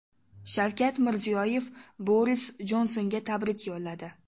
Shavkat Mirziyoyev Boris Jonsonga tabrik yo‘lladi.